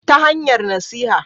Ta hanyar nasiha